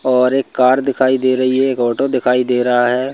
और एक कार दिखाई दे रही है एक ऑटो दिखाई दे रहा है।